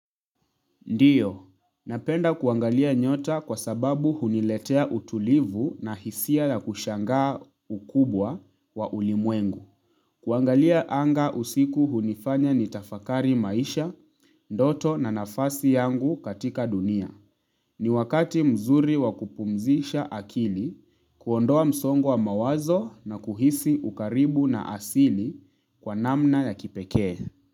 Ndiyo napenda kuangalia nyota kwasababu huniletea utulivu na hisia ya kushangaa ukubwa wa ulimwengu kuangalia anga usiku hunifanya nitafakari maisha ndoto na nafasi yangu katika dunia niwakati mzuri wakupumzisha akili kuondoa msongo wa mawazo na kuhisi ukaribu na asili kwa namna yakipekee.